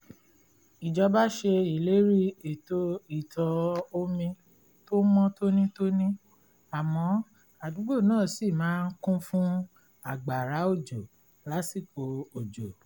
ìjọba ṣe ìlérí ètò ìtọ̀-omi tó mọ́ tónítóní àmọ́ àdúgbò náà ṣì máa ń kún fún àgbàrá òjò lásìkò òjò